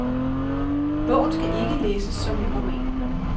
Bogen skal ikke læses som en roman.